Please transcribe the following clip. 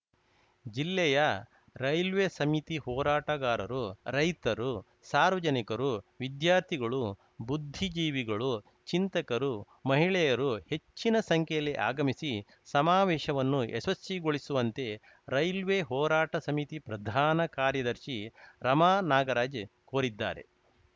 ಜಿಲ್ಲೆಯ ರೈಲ್ವೆ ಸಮಿತಿ ಹೋರಾಟಗಾರರು ರೈತರು ಸಾರ್ವಜನಿಕರು ವಿದ್ಯಾರ್ಥಿಗಳು ಬುದ್ಧಿಜೀವಿಗಳು ಚಿಂತಕರು ಮಹಿಳೆಯರು ಹೆಚ್ಚಿನ ಸಂಖ್ಯೆಯಲ್ಲಿ ಆಗಮಿಸಿ ಸಮಾವೇಶವನ್ನು ಯಶಸ್ವಿಗೊಳಿಸುವಂತೆ ರೈಲ್ವೆ ಹೋರಾಟ ಸಮಿತಿ ಪ್ರಧಾನ ಕಾರ್ಯದರ್ಶಿ ರಮಾನಾಗರಾಜ್‌ ಕೋರಿದ್ದಾರೆ